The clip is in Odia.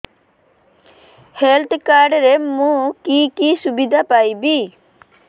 ହେଲ୍ଥ କାର୍ଡ ରେ ମୁଁ କି କି ସୁବିଧା ପାଇବି